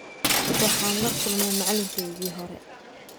Waxaan la kulmay macalinkaygii hore.